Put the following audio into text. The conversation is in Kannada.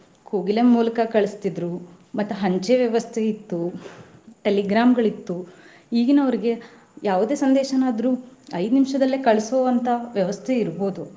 ಕೋಗಿಲೆ ಮೂಲಕ ಕಳಸ್ತಿದ್ರು. ಮತ್ತ್ ಅಂಚೆ ವ್ಯವಸ್ಥೆ ಇತ್ತು telegram ಗಳಿತ್ತು ಈಗಿನವ್ರಿಗೆ ಯಾವದೆ ಸಂದೇಶನಾದ್ರು ಐದ್ ನಿಮಿಷದಲ್ಲೇ ಕಳಸೊ ಅಂತಾ ವ್ಯವಸ್ಥೆ ಇರ್ಬಹುದು.